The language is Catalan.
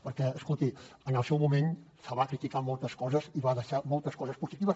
perquè escolti en el seu moment se li van criticar moltes coses i va deixar moltes coses positives